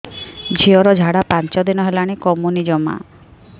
ଝିଅର ଝାଡା ପାଞ୍ଚ ଦିନ ହେଲାଣି କମୁନି ଜମା